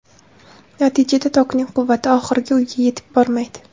Natijada tokning quvvati oxirgi uyga yetib bormaydi.